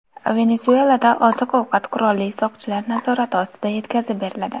Venesuelada oziq-ovqat qurolli soqchilar nazorati ostida yetkazib beriladi.